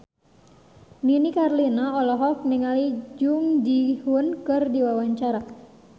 Nini Carlina olohok ningali Jung Ji Hoon keur diwawancara